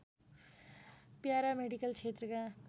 paramedical क्षेत्रका